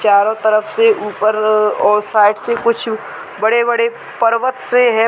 चारों तरफ से ऊपर अ और शायद से कुछ बड़े-बड़े पर्वत से है --